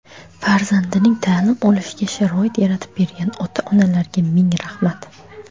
farzandining ta’lim olishiga sharoit yaratib bergan ota-onalarga ming rahmat.